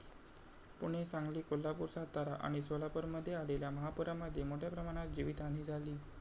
पुणे, सांगली, कोल्हापूर, सातारा आणि सोलापूरमध्ये आलेल्या महापूरामध्ये मोठ्याप्रमाणात जीवितहानी झाली.